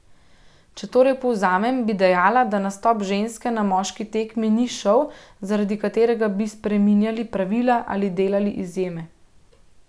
Če torej povzamem, bi dejala, da nastop ženske na moški tekmi ni šov, zaradi katerega bi spreminjali pravila ali delali izjeme.